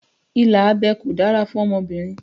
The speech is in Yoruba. Ìlà abẹ́ kò dára fún ọmọbìnrin